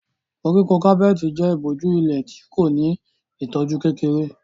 Koríko kápẹ́ẹ̀tì jẹ́ ìbòjú ilẹ̀ tí kò ní ìtọ́jú kékeré.